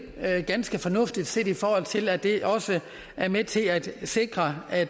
ganske fornuftigt set i forhold til at det også er med til at sikre at